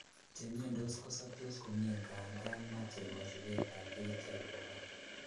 Chemiondos kosoptos komie ngandan moche kosipetab kerichek obo kora.